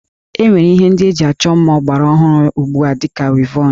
E nwere Ihe ndị eji achọ mma ọgbara ọhụrụ ugbu a dị ka wivọnụ